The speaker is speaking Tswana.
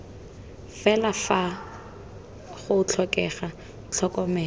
fela fa go tlhokega tlhokomelo